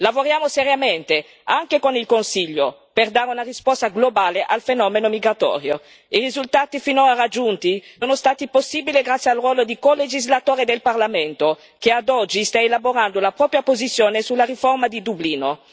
Lavoriamo seriamente anche con il Consiglio per dare una risposta globale al fenomeno migratorio e i risultati finora raggiunti sono stati possibili grazie al ruolo di colegislatore del Parlamento, che ad oggi sta elaborando la propria posizione sulla riforma di Dublino.